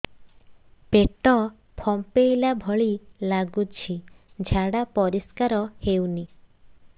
ପେଟ ଫମ୍ପେଇଲା ଭଳି ଲାଗୁଛି ଝାଡା ପରିସ୍କାର ହେଉନି